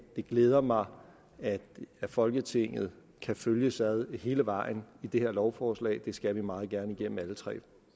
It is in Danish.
det glæder mig at folketinget kan følges ad hele vejen i det her lovforslag det skal vi meget gerne igennem alle tre